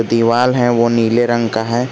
दीवाल है वो नीले रंग का है।